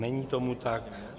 Není tomu tak.